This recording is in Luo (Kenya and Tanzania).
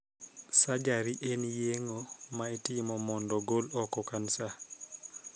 Surgery' en yeng'o ma itimo mondo gol oko kansa.